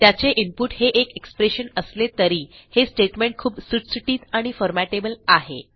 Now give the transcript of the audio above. त्याचे इनपुट हे एक एक्सप्रेशन असले तरी हे स्टेटमेंट खूप सुटसुटीत आणि फॉर्मॅटेबल आहे